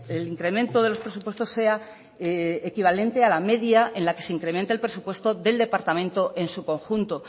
el incremento de los presupuestos sea equivalente a la media en la que se incremente el presupuesto del departamento en su conjunto